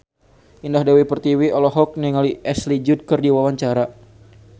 Indah Dewi Pertiwi olohok ningali Ashley Judd keur diwawancara